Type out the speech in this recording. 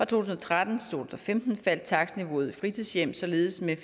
tusind og tretten til femten faldt takstniveauet i fritidshjem således med